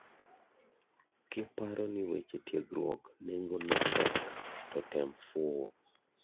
Kiparo ni weche tiergruok nengo ne tek to tem fuo.